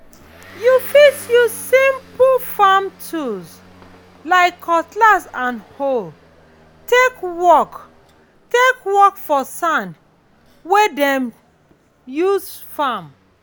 you fit use simple farm tools like cutlass and hoe take work for take work for sand wey dem use farm.